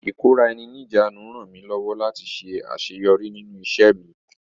Ìkóra-eni-ní-ìjánu rànmí lọ́wọ́ láti ṣe àṣẹyọrí nínú ìṣẹ́ mi..